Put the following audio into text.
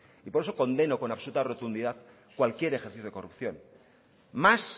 y por eso condeno con absoluta rotundidad cualquier ejercicio de corrupción más